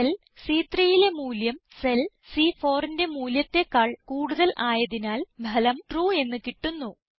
cell C3യിലെ മൂല്യം cell C4ന്റെ മൂല്യത്തെക്കാൾ കൂടുതൽ ആയതിനാൽ ഫലം ട്രൂ എന്ന് കിട്ടുന്നു